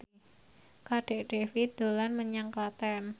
Kadek Devi dolan menyang Klaten